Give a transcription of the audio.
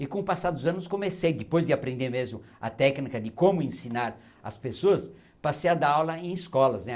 E com o passar dos anos comecei, depois de aprender mesmo a técnica de como ensinar as pessoas, passei a dar aula em escolas né.